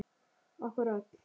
Okkur öll.